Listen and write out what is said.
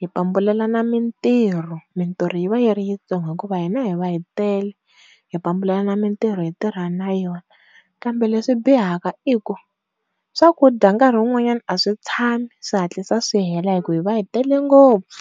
hi pambulelana mintirho mintirho yi va yi ri ntsongo ngopfu hikuva hi na hi va hi tele high vo pambulelana mintirho hi tirha na yona. Kambe leswi bihaka i ku swakudya nkarhi un'wanyana a swi tshami swi hatlisa swi hela hi ku hi va hi tele ngopfu.